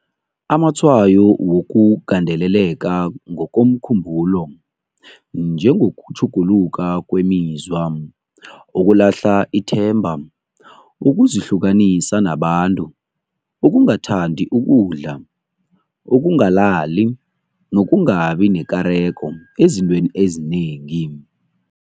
Amatshwayo wokugandeleleka ngokomkhumbulo, njengokutjhuguluka kwemizwa, ukulahla ithemba, ukuzihlukanisa nabantu, ukungathandi ukudla, ukungalali, nokungabi nekareko ezintweni ezinengi.